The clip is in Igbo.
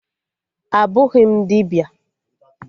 Abụghị m dibịa